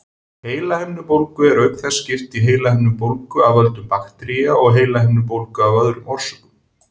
Heilahimnubólgu er auk þess skipt í heilahimnubólgu af völdum baktería og heilahimnubólgu af öðrum orsökum.